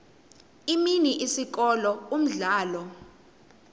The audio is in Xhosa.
imini isikolo umdlalo